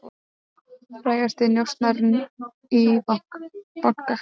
Frægasti njósnarinn í banka